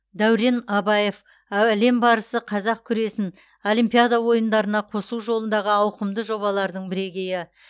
дәурен абаев а әлем барысы қазақ күресін олимпиада ойындарына қосу жолындағы ауқымды жобалардың бірегейі